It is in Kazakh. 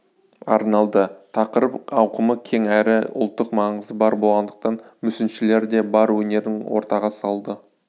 арналды тақырып ауқымы кең әрі ұлттық маңызы бар болғандықтан мүсіншілер де бар өнерін ортаға салды